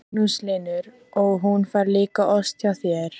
Magnús Hlynur: Og hún fær líka ost hjá þér?